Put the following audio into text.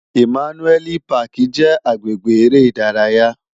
Imànúèli páki jè agbégbé èrè idàráyá